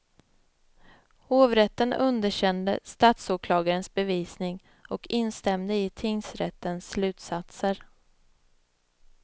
Hovrätten underkände statsåklagarens bevisning och instämde i tingsrättens slutsatser.